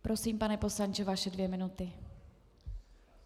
Prosím, pane poslanče, vaše dvě minuty.